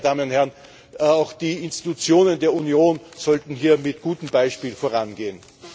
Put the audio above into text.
Und nebenbei, meine Damen und Herren Auch die Institutionen der Union sollten hier mit gutem Beispiel vorangehen.